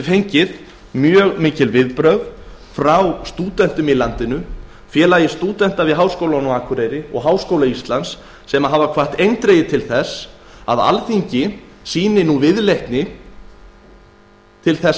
við fengið mikil viðbrögð frá stúdentum í landinu félögum stúdenta við háskólann á akureyri og háskóla íslands sem hafa eindregið hvatt til þess að alþingi sýni viðleitni til